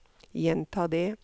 gjenta det